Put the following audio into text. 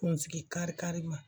Kunsigi kari karima